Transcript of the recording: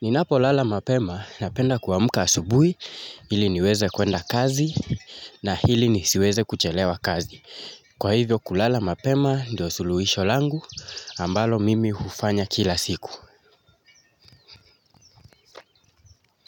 Ninapolala mapema napenda kuamka asubuhi ili niweze kuenda kazi na hili nisiweze kuchelewa kazi kwa hivo kulala mapema ndo suluhisho langu ambalo mimi hufanya kila siku.